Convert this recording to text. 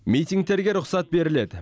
митингтерге рұқсат беріледі